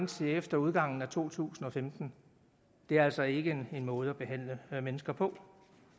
til efter udgangen af to tusind og femten det er altså ikke en måde at behandle mennesker på